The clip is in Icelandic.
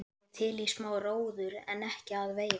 Ég er til í smá róður en ekki að veiða.